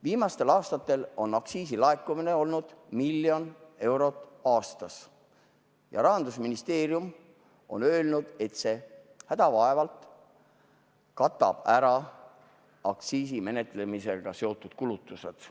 Viimastel aastatel on aktsiisilaekumine olnud miljon eurot aastas ja Rahandusministeerium on öelnud, et see hädavaevalt katab ära aktsiisi menetlemisega seotud kulutused.